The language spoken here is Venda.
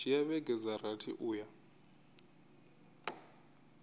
dzhia vhege dza rathi uya